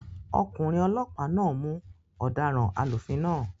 Ọkùnrin olọ́pàá náà mú ọ̀daràn alúfin náà